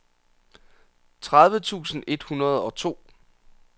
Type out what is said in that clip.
tredive tusind et hundrede og to